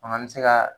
Fana an bɛ se ka